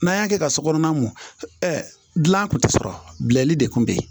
N'an y'a kɛ ka so kɔnɔna mun dilan kun tɛ sɔrɔ bil'i de kun bɛ yen